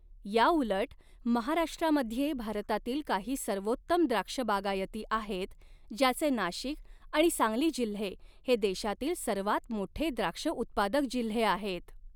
याउलट, महाराष्ट्रामध्ये भारतातील काही सर्वोत्तम द्राक्षबागायती आहेत, ज्याचे नाशिक आणि सांगली जिल्हे हे देशातील सर्वांत मोठे द्राक्षउत्पादक जिल्हे आहेत.